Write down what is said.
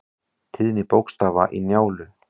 Tíðni bókstafa í Njálu.